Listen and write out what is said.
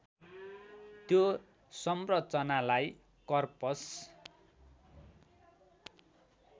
त्यो संरचनालाई कर्पस